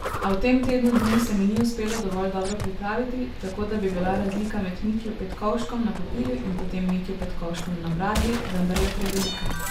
A v tem tednu dni se mi ni uspelo dovolj dobro pripraviti, tako da bi bila razlika med Mitjo Petkovškom na papirju in potem Mitjo Petkovškom na bradlji vendarle prevelika.